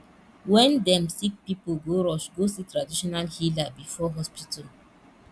wen dem sick pipo go rush go see traditional healer before hospital